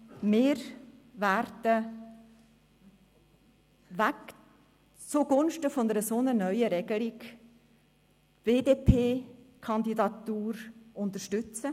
Wir werden zugunsten einer solchen neuen Regelung die BDP-Kandidatur unterstützen.